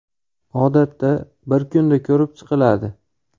Odatda, bir kunda ko‘rib chiqiladi.